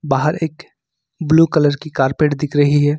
बाहर एक blue colour की कारपेट दिख रही है।